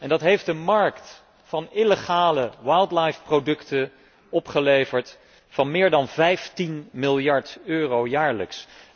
Dat heeft een markt van illegale wildlife producten opgeleverd van meer dan 15 miljard euro jaarlijks.